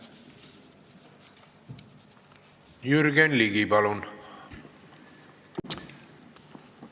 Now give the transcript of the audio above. Jürgen Ligi, palun!